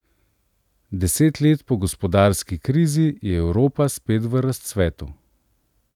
Deset let po gospodarski krizi je Evropa spet v razcvetu.